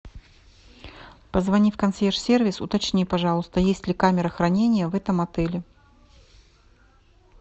позвони в консъерж сервис уточни пожалуйста есть ли камера хранения в этом отеле